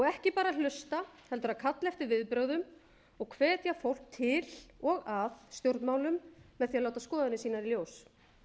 ekki bara að hlusta heldur að kalla eftir viðbrögðum og hvetja fólk til og að stjórnmálum með því að láta skoðanir sínar í ljós